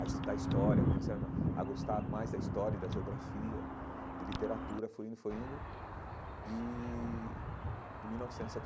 a estudar história, comecei a a gostar mais da história, da geografia e literatura, foi indo, foi indo e em mil novecentos e setenta.